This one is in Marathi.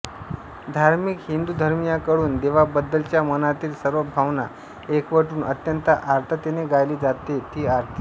धार्मिक हिंदुधर्मीयांकडून देवाबद्दलच्या मनातील सर्व भावना एकवटून अत्यंत आर्ततेने गायली जाते ती आरती